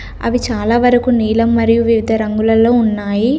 అవి చాలా వరకు నీలం మరియు వివిధ రంగులల్లో ఉన్నాయి.